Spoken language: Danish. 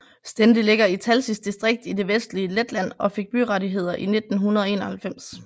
Stende ligger i Talsis distrikt i det vestlige Letland og fik byrettigheder i 1991